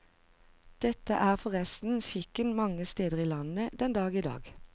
Dette er forresten skikken mange steder i landet den dag i dag.